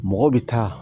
Mɔgɔ bɛ taa